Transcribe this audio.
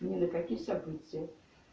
мне на какие события